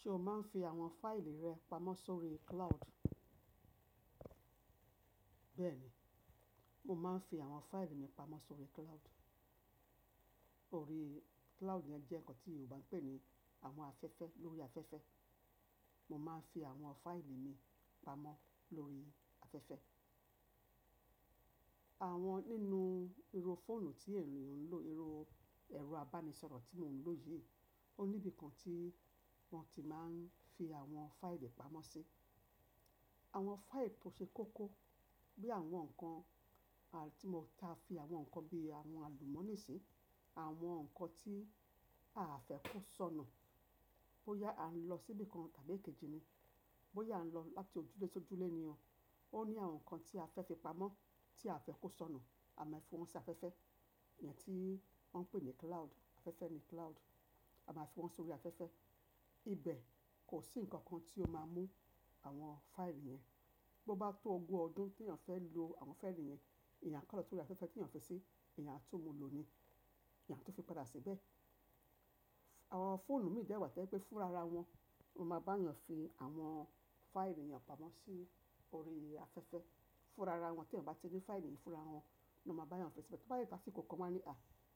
Ṣé o máa ń fi àwọn fáìlì rẹ pamọ́ sórí cloud? Bẹ́ẹ̀ni, mo máa ń fi àwọn fáìlì mi pamọ́ sórí cloud. Orí cloud yẹn jẹ́ nǹkan tí Yorùbá ń pè ní àwọn afẹ́fẹ́, lórí afẹ́fẹ́. Mo máa ń fi àwọn fáìlì mi pamọ́ lórí afẹ́fẹ́. Àwọn nínú irú fóònù tí ènìyàn ń lò, irú ẹ̀rọ abánisọ̀rọ̀ tí mò ń lò yìí, ó níbì kan tí wọ́n ti máa ń fi àwọn fáìlì pamọ́ sí. Àwọn fáìlì tó ṣe kókó bí àwọn nǹkan tí mo táa fi àwọn nǹkan bí àwọn àlùmọ́ọ́nì sí, àwọn nǹkan tí aà fẹ́ kó sọnù bóyá à ń lọ síbí kan tàbí èkejì ni. Bóyá a ń lọ láti ojúlé sójúlé ni o. Ó ní àwọn nǹkan tí a fẹ́ fi pamọ́ tí aà fẹ́ kó sọnù, a máa fi wọ́n sí afẹ́fẹ́. Ìyẹn tí wọ́n ń pè ní cloud, afẹ́fẹ́ ni cloud. A máa fi wọ́n sórí afẹ́fẹ́. Ibẹ̀ kò sí nǹkan kan tí ó máa mú àwọn fáìlì yẹn. Bo bá tó ogún ọdún téèyàn fẹ́ lo àwọn fáìlì yẹn, èèyàn á kàn tú orí afẹ́fẹ́ téèyàn fi sí, èèyàn á tún mu lò ni, èèyàn á tún fi padà síbẹ̀. Àwọn fóònù míì dẹ̀ wà tó jẹ́ pé fúnra ra wọn, wọ́n máa bá èèyàn fi àwọn fáìlì èèyàn pamọ́ sí orí afẹ́fẹ́. Fúnra ra wọn téèyàn ò bá ti ní fáìlì yìí, fúnra wọn l'ọ́n máa bá èèyàn fi síbẹ̀. Tó bá dẹ̀ tó àsìkò kan, wọ́n á ní,